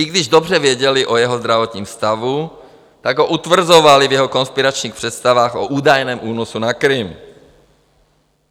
I když dobře věděli o jeho zdravotním stavu, tak ho utvrzovali v jeho konspiračních představách o údajném únosu na Krym.